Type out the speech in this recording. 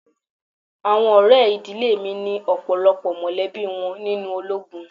Àwọn ọ̀rẹ́ ìdílé mi ni ọ̀pọ̀lọpọ̀ mọ̀lẹ́bí wọn nínú ológun.